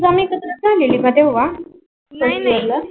एकत्र झालेली का तेव्हा ला नाही नाही